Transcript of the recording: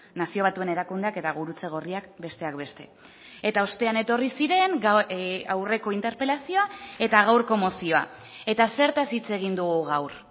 nazio batuen erakundeak eta gurutze gorriak besteak beste eta ostean etorri ziren aurreko interpelazioa eta gaurko mozioa eta zertaz hitz egin dugu gaur